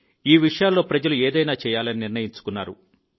ఈ విషయాల్లో ప్రజలు ఏదైనా చేయాలని నిర్ణయించుకున్నారు